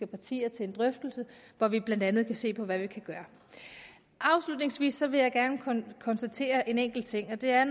partier til en drøftelse hvor vi blandt andet kan se på hvad vi kan gøre afslutningsvis vil jeg gerne konstatere en enkelt ting og det er